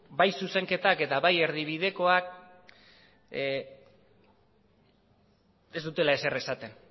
bai zuzenketek eta bai erdibidekoek ez dutela ezer esaten